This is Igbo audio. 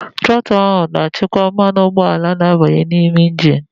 The trotul na-achịkwa ego mmanụ ụgbọala na-abanye n'ime engini.